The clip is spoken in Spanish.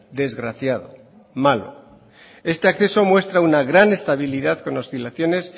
desgraciado malo este acceso muestra una gran estabilidad con oscilaciones